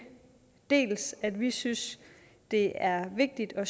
dels at vi synes det er vigtigt at